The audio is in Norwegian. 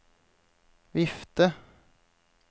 vifte